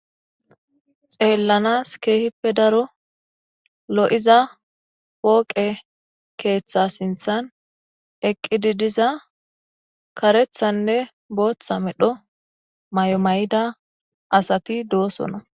Xeelanas keehippe daro lo7iza pooqe keetha sinththan eqqidi diza kareththanne booththa medho mayo mayida asati doosona.